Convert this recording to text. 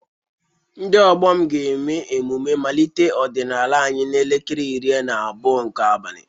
Ndị ọgbọ m ga-eme emume mmalite ọdịnala anyị n'elekere iri na abụọ nke abalị